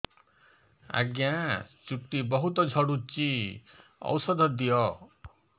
ଆଜ୍ଞା ଚୁଟି ବହୁତ୍ ଝଡୁଚି ଔଷଧ ଦିଅ